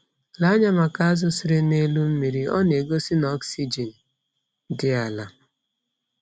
Lee anya maka azu sere n'elu mmiri— ọ na egosi na oxygen di ala